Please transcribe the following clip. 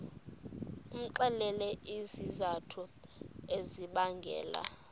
umxelele izizathu ezibangela